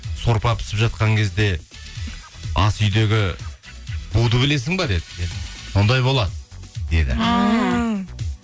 сорпа пісіп жатқан кезде асүйдегі буды білесің бе деді сондай болады деді